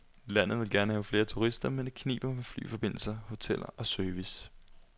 Landet vil gerne have flere turister, men det kniber med flyforbindelser, hoteller og service.